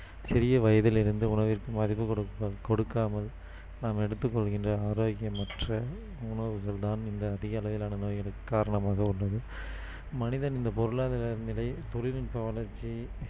சிறிய வயதில் இருந்து உணவிற்கு மதிப்பு கொடுக்~கொடுக்காமல் நாம் எடுத்துக் கொள்கின்ற ஆரோக்கியமற்ற உணவுகள் தான் இந்த அதிகளவிலான நோய்களுக்கு காரணமாக உள்ளது மனிதன் இந்த பொருளாதார நிலை தொழில் நுட்ப வளர்ச்சி